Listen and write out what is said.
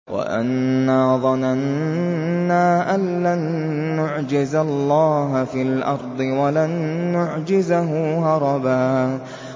وَأَنَّا ظَنَنَّا أَن لَّن نُّعْجِزَ اللَّهَ فِي الْأَرْضِ وَلَن نُّعْجِزَهُ هَرَبًا